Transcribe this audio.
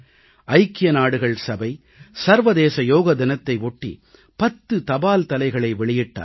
ஐக்கிய நாடுகள் சபை சர்வதேச யோக தினத்தை ஒட்டி 10 தபால்தலைகளை வெளியிட்டார்கள்